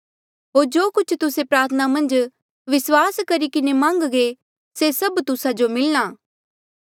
होर जो कुछ तुस्से प्रार्थना मन्झ विस्वास करी किन्हें मान्घगे से सभ तुस्सा जो मिलणा